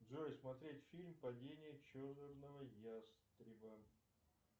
джой смотреть фильм падение черного ястреба